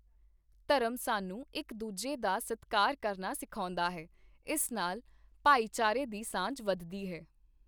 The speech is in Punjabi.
ਧਰਮ ਸਾਨੂੰ ਇੱਕ ਦੂਜੇ ਦਾ ਸਤਿਕਾਰ ਕਰਨਾ ਸਿਖਾਉਂਦਾ ਹੈ, ਇਸ ਨਾਲ ਭਾਈਚਾਰੇ ਦੀ ਸਾਂਝ ਵੱਧਦੀ ਹੈ